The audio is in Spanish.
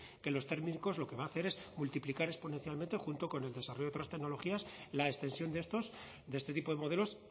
que los térmicos lo que va a hacer es multiplicar exponencialmente junto con el desarrollo de otras tecnologías la extensión de estos de este tipo de modelos